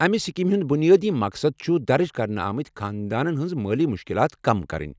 امہ سکیمہِ ہُنٛد بنیٲدی مقصد چھ درج کرنہٕ آمٕتۍ خاندانن ہنٛز مٲلی مشکلات کم کرٕنۍ۔